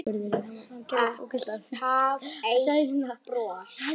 Alltaf eitt bros.